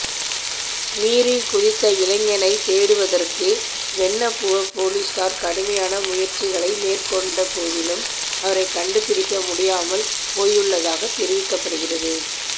நீரில் குதித்த இளைஞனை தேடுவதற்கு வென்னப்புவ பொலிஸார் கடுமையான முயற்சிகளை மேற்கொண்ட போதிலும் அவரை கண்டுபிடிக்க முடியாமல் போயுள்ளதாக தெரிவிக்கப்படுகின்றது